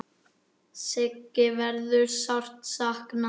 Siggu verður sárt saknað.